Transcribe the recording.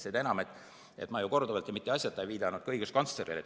Seda enam, et ma ju korduvalt ja mitte asjata ei viidanud ka õiguskantslerile.